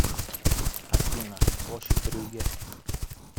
афина площадь брюгге